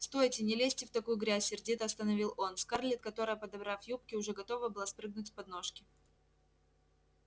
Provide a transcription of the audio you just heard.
стойте не лезьте в такую грязь сердито остановил он скарлетт которая подобрав юбки уже готова была спрыгнуть с подножки